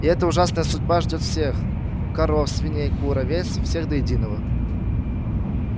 и эта ужасная судьба ждёт всех коров свиней кур овец всех до единого